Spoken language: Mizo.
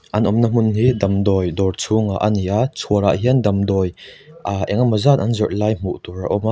an awmna hmun hi damdawi dawr chhungah ani a chhuar ah hian damdawi ah engemaw zat an zawrh lai hmuh tur a awm a.